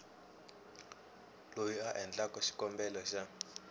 loyi a endlaku xikombelo xa